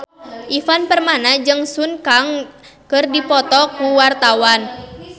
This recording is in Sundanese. Ivan Permana jeung Sun Kang keur dipoto ku wartawan